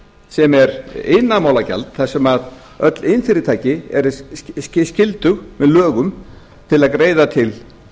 sem er iðanaðrmálagjalda þar sem öll iðnfyrirtæki eru skyldug með lögum til að greiða til